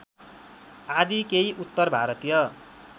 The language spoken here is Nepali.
आदि केही उत्तरभारतीय